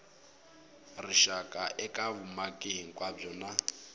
rixaka eka vumaki hinkwabyo na